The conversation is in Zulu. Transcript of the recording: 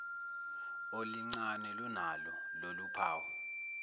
olincane lunalo loluphawu